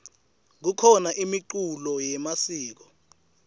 kukhona imiculo yemasiko